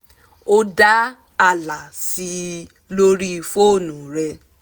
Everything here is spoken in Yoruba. ó dá ààlà sí i lórí fónú rẹ̀